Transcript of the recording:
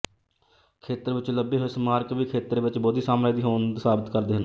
ਖੇਤਰ ਵਿੱਚੋਂ ਲੱਭੇ ਹੋਏ ਸਮਾਰਕ ਵੀ ਖੇਤਰ ਵਿੱਚ ਬੋਧੀ ਸਾਮਰਾਜ ਦੀ ਹੋਂਦ ਸਾਬਤ ਕਰਦੇ ਹਨ